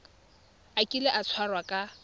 a kile a tshwarwa ka